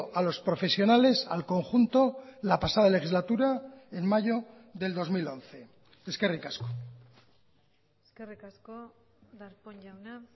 a los profesionales al conjunto la pasada legislatura en mayo del dos mil once eskerrik asko eskerrik asko darpón jauna